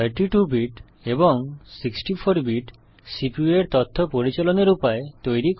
32 bit এবং 64 bit CPU এর তথ্য পরিচালনের উপায় তৈরী করে